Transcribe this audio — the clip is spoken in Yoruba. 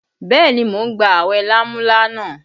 Bẹẹ ni, mo ń gba awẹ lámúlánà